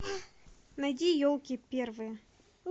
найди елки первые